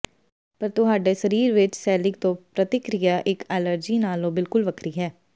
ਪਰ ਤੁਹਾਡੇ ਸਰੀਰ ਵਿੱਚ ਸੇਲਿਕ ਤੋਂ ਪ੍ਰਤੀਕ੍ਰਿਆ ਇੱਕ ਐਲਰਜੀ ਨਾਲੋਂ ਬਿਲਕੁਲ ਵੱਖਰੀ ਹੈ